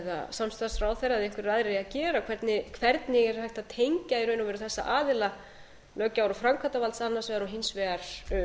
samstarfsráðherra eða einhverjir aðrir eigi að gera hvernig er hægt að tengja í raun og veru þessa aðila löggjafar og framkvæmdarvalds annars vegar og hins vegar